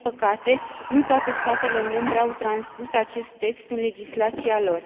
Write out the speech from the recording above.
Din păcate, nu toate statele membre au transpus acest text în legislația lor.